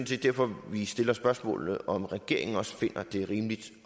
set derfor vi stiller spørgsmålet om hvorvidt regeringen også finder at det er rimeligt